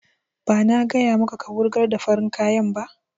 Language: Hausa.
Ba na gaya maka ka wurgar da farin kayan ba!